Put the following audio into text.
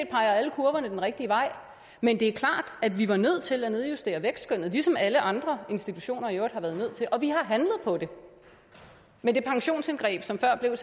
peger alle kurverne den rigtige vej men det er klart at vi var nødt til at nedjustere vækstskønnet ligesom alle andre institutioner i øvrigt har været nødt til det og vi har handlet på det med det pensionsindgreb som før blev